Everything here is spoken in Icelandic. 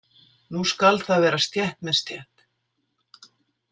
Nú skal það vera stétt með stétt!